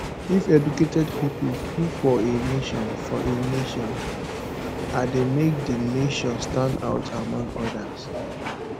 if educated pipo full for a nation for a nation a de make di nation stand out among others